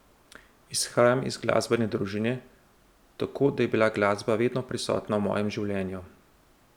Izhajam iz glasbene družine tako da je bila glasba vedno prisotna v mojem življenju.